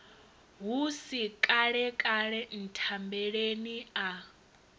hu si kalekale nthambeleni a